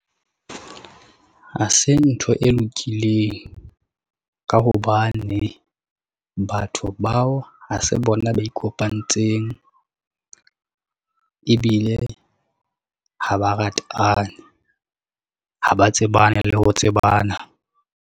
Ha se ntho e lokileng, ka hobane batho bao ha se bona ba ikopantseng, ebile ha ba ratane ha ba tsebane le ho tsebana.